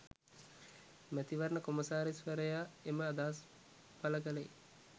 මැතිවරණ කොමසාරිස්වරයා එම අදහස් පළ කළේ